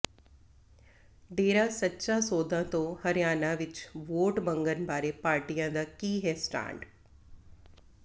ਡੇਰਾ ਸੱਚਾ ਸੌਦਾ ਤੋਂ ਹਰਿਆਣਾ ਵਿੱਚ ਵੋਟ ਮੰਗਣ ਬਾਰੇ ਪਾਰਟੀਆਂ ਦਾ ਕੀ ਹੈ ਸਟੈਂਡ